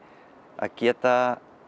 að geta